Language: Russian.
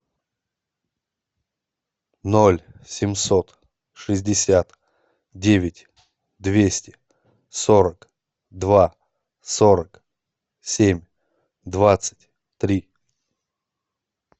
ноль семьсот шестьдесят девять двести сорок два сорок семь двадцать три